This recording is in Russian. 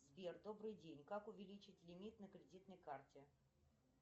сбер добрый день как увеличить лимит на кредитной карте